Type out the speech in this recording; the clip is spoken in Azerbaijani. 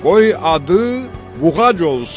Qoy adı Buğac olsun.